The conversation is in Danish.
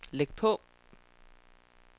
læg på